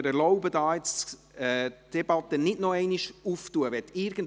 Ich erlaube mir deswegen, hier die Debatte dazu nicht noch einmal zu eröffnen.